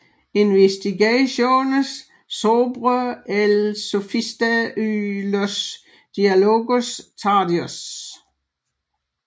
Investigaciones sobre el Sofista y los diálogos tardíos